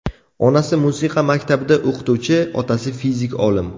Onasi musiqa maktabida o‘qituvchi, otasi fizik olim.